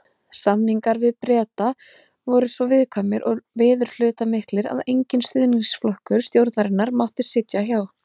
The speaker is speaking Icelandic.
Samningar við Breta voru svo viðkvæmir og viðurhlutamiklir, að enginn stuðningsflokkur stjórnarinnar mátti sitja hjá.